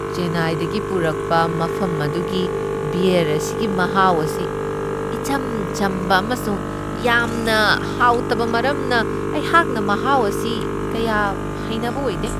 ꯆꯦꯟꯅꯥꯏꯗꯒꯤ ꯄꯨꯔꯛꯄ ꯃꯐꯝ ꯑꯗꯨꯒꯤ ꯕ꯭ꯌꯔ ꯑꯁꯤꯒꯤ ꯃꯍꯥꯎ ꯑꯁꯤ ꯏꯆꯝ ꯆꯝꯕ ꯑꯃꯁꯨꯡ ꯌꯥꯝꯅ ꯍꯥꯎꯇꯕ ꯃꯔꯝꯅ ꯑꯩꯍꯥꯛꯅ ꯃꯍꯥꯎ ꯑꯁꯤ ꯀꯌꯥ ꯍꯩꯅꯕ ꯑꯣꯏꯗꯦ ꯫